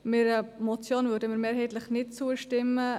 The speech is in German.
Einer Motion würden wir mehrheitlich nicht zustimmen.